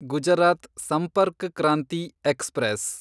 Gujarat Sampark Kranti express